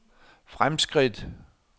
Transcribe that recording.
fremskridt